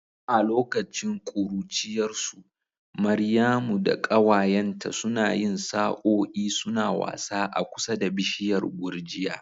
A lokacin ƙuruciyarsu, Maryamu da ƙawayenta suna yin sa'o'i suna wasa a kusa da bishiyar gurjiya.